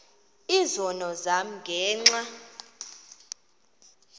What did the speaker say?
izono zam ngenxa